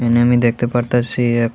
আমি দেখতে পারতাসি এক--